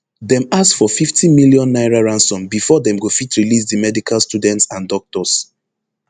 dem ask for fifty million naira ransom bifor dem go fit release di medical students and doctors